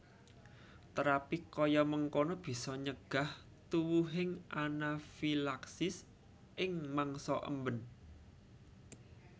Terapi kaya mengkono bisa nyegah tuwuhing anafilaksis ing mangsa emben